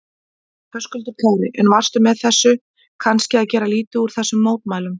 Höskuldur Kári: En varstu með þessu kannski að gera lítið úr þessum mótmælum?